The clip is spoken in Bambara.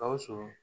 Gawusu